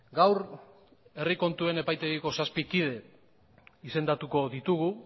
gaur herri kontuen epaitegiko zazpi kide izendatuko ditugu